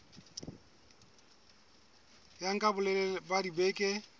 ya nka bolelele ba dibeke